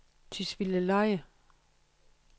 Tisvildeleje